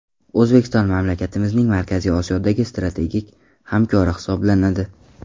O‘zbekiston mamlakatimizning Markaziy Osiyodagi strategik hamkori hisoblanadi.